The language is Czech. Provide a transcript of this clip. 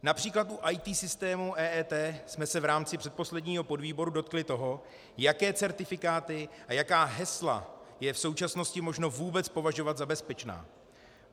Například u IT systémů EET jsme se v rámci předposledního podvýboru dotkli toho, jaké certifikáty a jaká hesla je v současnosti možno vůbec považovat za bezpečná.